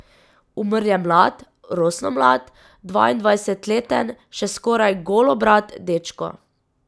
Umrl je mlad, rosno mlad, dvaindvajsetleten, še skoraj golobrad dečko.